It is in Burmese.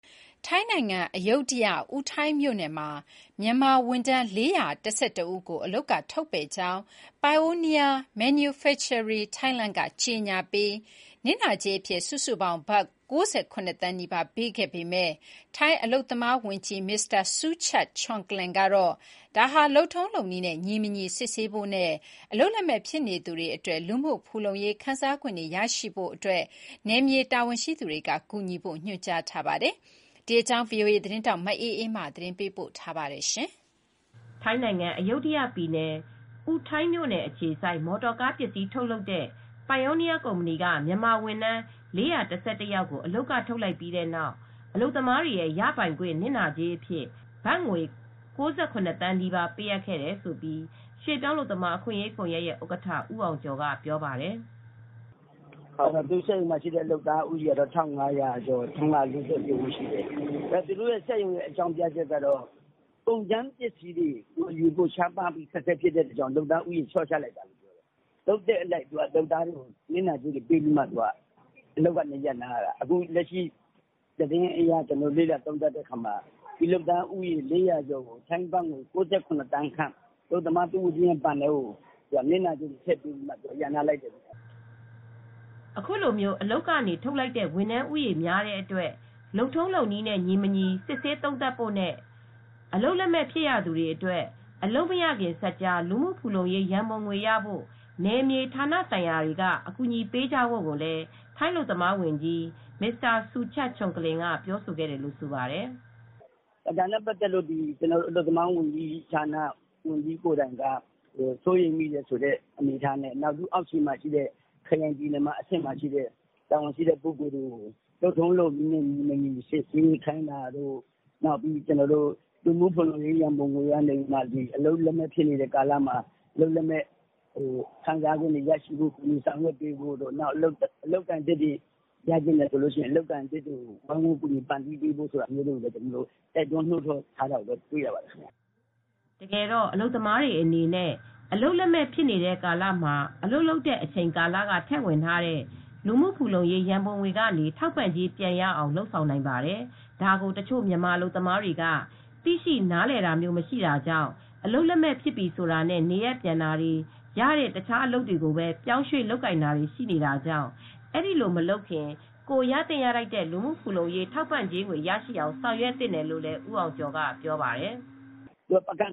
ထိုင်းနိုင်ငံ၊ အယုဒ္ဓယ အူထိုင်းမြို့နယ်မှာ မြန်မာဝန်ထမ်း ၄၁၁ ဦးကို အလုပ်ကထုတ်ပယ်ကြောင်း Pioneer Manufacturing က ကြေငြာပြီး နစ်နာကြေးအဖြစ် စုစုပေါင်းဘတ် ၉၇သန်းနီးပါး ပေးခဲ့ပေမယ့် ထိုင်းအလုပ်သမားဝန်ကြီး မစ္စတာ ဆူချတ် ချွမ်ကလင်ကတော့ ဒါဟာ လုပ်ထုံးလုပ်နည်းနဲ့ ညီမညီ စစ်ဆေးဖို့နဲ့ အလုပ်လက်မဲ့ ဖြစ်နေသူတွေအတွက် လူမူဖူလုံရေးခံစားခွင့်တွေ ရရှိဖို့တို့အတွက် နယ်မြေ တာဝန်ရှိသူတွေ ကူညီဖို့ ညွန်ကြားထားပါတယ်။ ဒီအကြောင်း ဗွီအိုအေသတင်းထောက် မအေးအေးမာက သတင်းပေးပို့ ထားပါတယ်။ မြန်မာဝန်ထမ်း ယောက်ကို အလုပ်ကထုတ်ပယ်လိုက်ပြီး အလုပ်သမားတွေရဲ့ ရပိုင်ခွင့် နစ်နာကြေး အဖြစ် ဘတ်ငွေ သန်းနီးပါး ပေးအပ်ခဲ့တယ်လို့ ရွှေပြောင်းအလုပ်သမား အခွင့်ရေးကွန်ယက် ဥက္ကဌ ဦးအောင်ကျော်က အခုလိုပြောပါတယ်။ “စက်ရုံထဲမှာရှိတဲ့ လူဦးရေက ၁,၅၀၀ကျော်ပေါ့၊ ၁၅၄၉ ဦး ရှိတယ်။ သူတို့စက်ရုံရဲ့ အကြောင်းပြချက်ကတော့ ကုန်ကြမ်းပစ္စည်း ရှားပါးမှုကြောင့် လုပ်သားဦးရေ လေ ျှာ့ချတာလို့ပြောတယ်။ လုပ်သက်အလိုက် အလုပ်သမားတွေကို နစ်နာကြေးတွေပေးပြီး အလုပ်ကနေ ရပ်နားလိုက်တာ။ အခုလက်ရှိသတင်းအရ လေ့လာသုံးသပ်လိုက်တော့ အလုပ်သမားဦးရေ ၄၀၀ေ ကျာ်အတွက် နစ်နာကြေးဘတ်ငွေ ၉၇ သန်းခန့် အလုပ်သမားတဦးရဲ့ဘဏ်ထဲကို နစ်နာကြေးထည့်ပေးလိုက်ပြီး ရပ်နားလိုက်တာဖြစ်ပါတယ်။” အခုလို အလုပ်ကနေ ထုတ်လိုက်တဲ့ဝန်ထမ်းဦးရေ များတဲ့အတွက် လုပ်ထုံးလုပ်နည်းနဲညီမညီ စစ်ဆေး သုံးသပ်ဖို့နဲ့ အလုပ်လက်မဲ့ ဖြစ်ရသူတွေအတွက် အလုပ်မရခင်စပ်ကြား လူမှုဖူလုံရေး ရံပုံငွေရဖို့ နယ်မြေ ဌာနဆိုင်ရာတွေက အကူညီပေးကြဖို့ကိုလည်း ထိုင်းအလုပ်သမားဝန်ကြီး မစ္စတာ ဆူချတ် ချွမ်ကလင်က ပြောဆိုခဲ့တယ်လို့ ဆိုပါတယ်။ “ဒါနဲ့ပတ်သက်ပြီး အလုပ်သမားဝန်ကြီးကိုယ်တိုင်က စိုးရိမ်တယ်ဆိုတဲ့အနေအထားနဲ့ ခရိုင်ပြည်နယ်က တာဝန်ရှိတဲ့လူတွေကို လုပ်ထုံးလုပ်နည်းနဲ့ ညီမညီ စစ်ဆေးခိုင်းတာတို့၊ လူမှုဖူလုံရေး ရံပုံငွေကနေ အလုပ်လက်မဲ့ကာလမှာ ခံစားခွင့်တွေ ရရှိဖို့တို့၊ ကူညီဆောင်ရွက်ပေးဖို့ အလုပ်အကိုင်သစ်တွေရဖို့လည်း ဝိုင်းဝန်း ကူညီပံ့ပိုးပေးဖို့ ဆိုတာတွေ တိုက်တွန်း နှိုးဆော်ထားတာ တွေ့ရတယ်။” တကယ်တော့ အလုပ်သမားတွေအနေနဲ့ အလုပ်လက်မဲ့ ကာလမှာ အလုပ်လုပ်တဲ့အချိန်ကာလက ထည့်ဝင်ထားတဲ့ လူမှုဖူလုံရေး ရံပုံငွေကနေ ထောက်ပံ့ကြေးပြန်ရအောင်လုပ်ဆောင်နိုင်ပါတယ်။ ဒါကို တချို့မြန်မာအလုပ်သမားတွေက သိရှိနားလည်တာမျိုး မရှိတာကြောင့် အလုပ်လက်မဲ့ဖြစ်ပြီဆိုတာနဲ့ နေရပ်ပြန်တာတွေ၊ ရတဲ့တခြားအလုပ်တွေကိုပဲ ပြောင်းရွှေ့ လုပ်ကိုင်တာတွေ ရှိနေတာကြောင့် အဲဒီလိုမလုပ်ခင် ကိုယ်ရသင့်ရထိုက်တဲ့ လူမှုဖူလုံရေး ထောက်ပံ့ငွေရရှိအောင် ဆောင်ရွက်သင့်တယ်လို့ ဦးအောင်ကျော်က ပြောပါတယ်။ "ပကန်